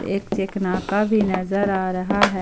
एक चेक नाका भी नजर आ रहा है।